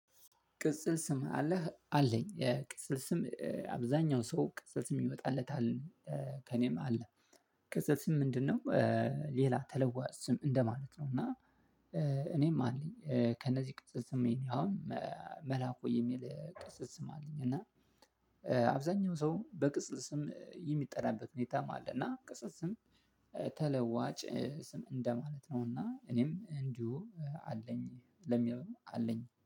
ቅጽል ስም አለህ አለኝ ቅጽል ስም አብዛኛው ሰው ቅጽል ስም ይወጣለታል ከእኔም አለ። ከዛ ስም ምንድነው? ሌላ ተለዋዋጭ ስም እንደማለት ነው እና። እኔም አለኝ ከነዚህ ቅጽል አሁን መላኩ የሚል ቅጽም አለኝ እና። አብዛኛው ሰው በቅጽል ስም የሚጠራበት ሁኔታ ማለት ነው። እና ቅጽል ስም ተለዋጭ ስም እንደማለት ነውና እኔም እንዲሁ አለኝ። ለሚለው አለኝ